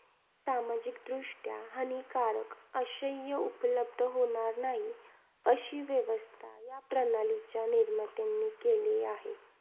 सामाजिकदृष्ट्या हानिकारक उपलब्ध होणार नाही, अशी व्यवस्था या प्रणालीच्या निर्मात्यांनी केली आहे.